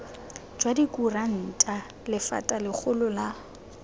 jwa dikuranta lephata legolo la